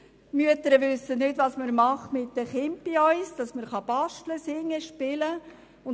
Die Mütter wissen nicht, was man bei uns mit den Kindern macht, dass man basteln, singen, spielen kann.